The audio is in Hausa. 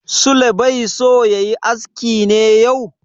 Sule bai so ya yi aski ne yau?